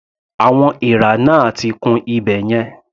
Àwọn èèrà náà ti kún ibẹ̀ yẹn.